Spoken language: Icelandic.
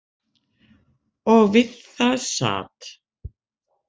Og við það sat.